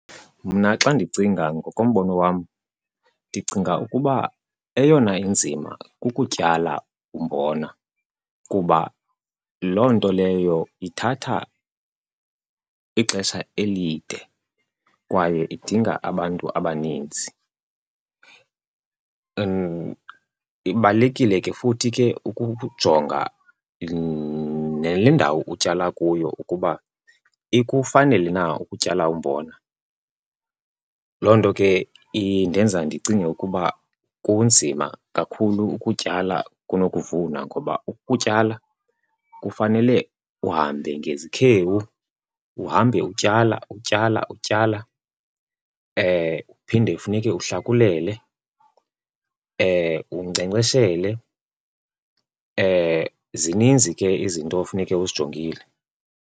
Mna xa ndicinga ngokombono wam, ndicinga ukuba eyona inzima kukutyala umbona kuba loo nto leyo ithatha ixesha elide kwaye idinga abantu abaninzi. Ibalulekile ke futhi ke ukujonga nale ndawo utyala kuyo ukuba ikufanele na ukutyala umbona. Loo nto ke indenza ndicinge ukuba kunzima kakhulu ukutyala kunokuvuna ngoba ukutyala kufanele uhambe ngezikhewu, uhambe utyala, utyala, utyala. Uphinde funeke uhlakulele, unkcenkceshele. Zininzi ke izinto efuneke uzijongile.